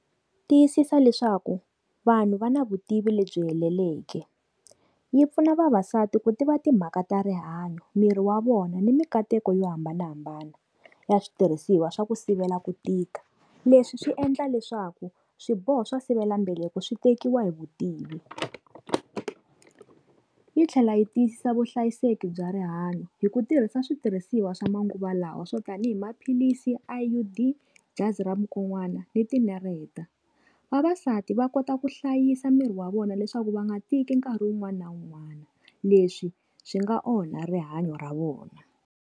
Tiyisisa leswaku vanhu va na vutivi lebyi heleleke. Yi pfuna vavasati ku tiva timhaka ta rihanyo, miri wa vona, ni minkateko yo hambanahambana ya switirhisiwa swa ku sivela ku tika. Leswi swi endla leswaku swiboho swa sivelambeleko swi tekiwa hi vutivi. Yi tlhela yi tiyisisa vuhlayiseki bya rihanyo hi ku tirhisa switirhisiwa swa manguva lawa swo tanihi maphilisi, I_U_D, jazi ra mukon'wana ni tinareta. Vavasati va kota ku hlayisa miri wa vona leswaku va nga tiki nkarhi wun'wani na wun'wani, leswi swi nga onha rihanyo ra vona.